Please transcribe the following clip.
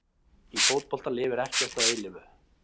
Í fótbolta lifir ekkert að eilífu.